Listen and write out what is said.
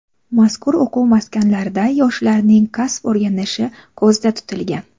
Mazkur o‘quv maskanlarida yoshlarning kasb o‘rganishi ko‘zda tutilgan.